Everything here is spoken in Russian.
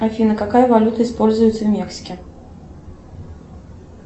афина какая валюта используется в мексике